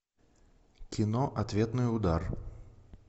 кино ответный удар